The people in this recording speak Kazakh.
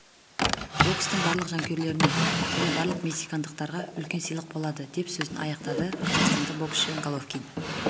бокстың барлық жанкүйерлеріне және барлық мексикандықтарға үлкен сыйлық болады деп сөзін аяқтады қазақстандық боксшы головкин